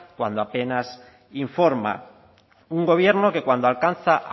cuando apenas informa un gobierno que cuando alcanza